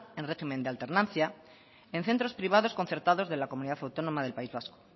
en régimen de alternancia en centros privados concertados de la comunidad autónoma del país vasco